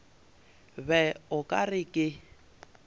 be o ka re ke